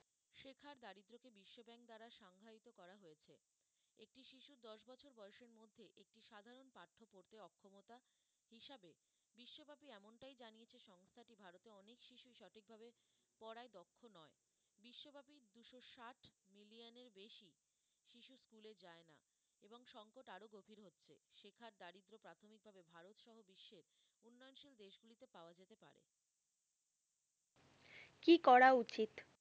কি করা উচিত।